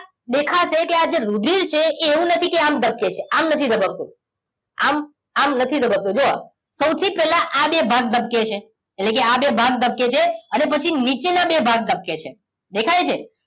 દેખાશે કે આ જે રુધીર છે એ વું નથી કે આમ ધબકે છે આમ નથી ધબકતું આમ આમ નથી ધબકતું જો સૌથી પેલા આ બે ભાગ ધબકે છે એટલેકે આ બે ભાગ ધબકે છે અને પછી નીચે ના બે ભાગ ધબકે છે દેખાય છે